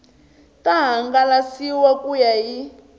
ta hangalasiwa ku ya hi